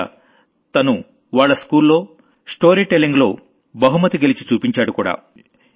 పైగా తను వాళ్ల స్కూల్లో స్టోరీ టెల్లింగ్ లో ప్రైజ్ గెలిచి చూపించాడుకూడా